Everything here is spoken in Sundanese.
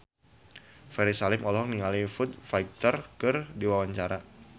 Ferry Salim olohok ningali Foo Fighter keur diwawancara